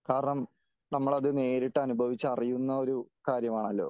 കാരണം നമ്മൾ അത് നേരിട്ട് അനുഭവിച്ച് അറിയുന്ന കാര്യമാണല്ലോ ?